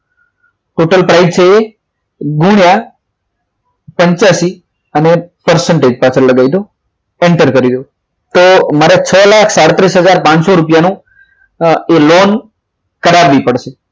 total price છે ગુણ્યા પંચયસી અને percentage પાછળ લગાવી દો enter કરી દો તો મારે છો લાખ સાડત્રીસ હજાર નું એ લોન કરાવવી પડશે